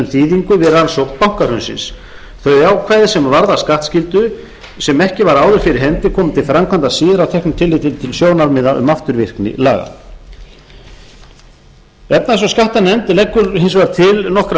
þýðingu við rannsókn bankahrunsins þau ákvæði sem varða skattskyldu sem ekki var áður fyrir hendi koma til framkvæmda síðar að teknu tilliti til sjónarmiða um afturvirkni laga efnahags og skattanefnd leggur hins vegar til nokkrar